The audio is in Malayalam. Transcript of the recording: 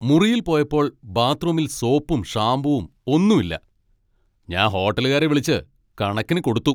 മുറിയിൽ പോയപ്പോൾ ബാത്റൂമിൽ സോപ്പും ഷാമ്പുവും ഒന്നും ഇല്ല. ഞാൻ ഹോട്ടലുകാരെ വിളിച്ച് കണക്കിന് കൊടുത്തു.